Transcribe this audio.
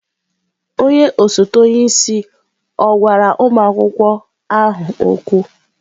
Onye osote onye isi ọ̀ gwara ụmụ akwụkwọ ahụ okwu?